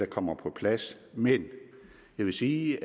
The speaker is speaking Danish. kommer på plads men jeg vil sige